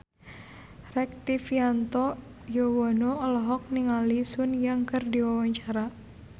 Rektivianto Yoewono olohok ningali Sun Yang keur diwawancara